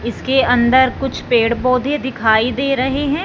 इसके अंदर कुछ पेड़ पौधे दिखाई दे रहे हैं।